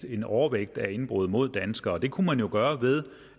en overvægt af indbrud mod danskere det kunne man jo gøre ved